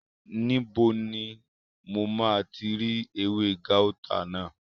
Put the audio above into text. Níbo ni mo máa ti rí ewé gáútà náà?